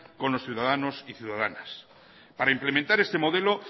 con los ciudadanos y ciudadanas para implementar este modelo